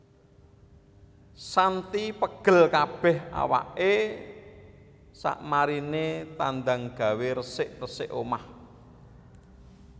Shanty pegel kabeh awake sakmarine tandang gawe resik resik omah